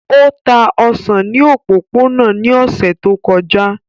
O ta osan ni opopona ni ọsẹ to kọja.